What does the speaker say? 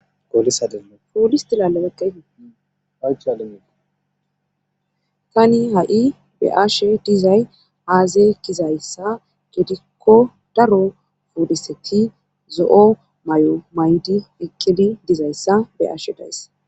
Iistaaetani ha7i be ashe dizay aazey kizayssa gedikko daro foodiseti zo7o may7o may7di ekedi dizayssa be ashe days.